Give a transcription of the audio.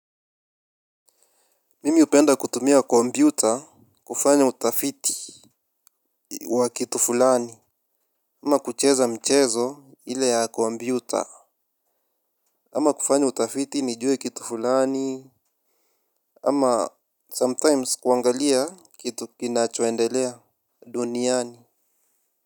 Mimi hupenda kutumia kompyuta kufanya utafiti wa kitu fulani. Ama kucheza michezo ile ya kompyuta ama kufanya utafiti nijue kitu fulani ama sometimes kuangalia kitu kinachoendelea duniani.